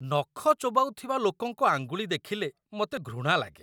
ନଖ ଚୋବାଉଥିବା ଲୋକଙ୍କ ଆଙ୍ଗୁଳି ଦେଖିଲେ ମୋତେ ଘୃଣା ଲାଗେ।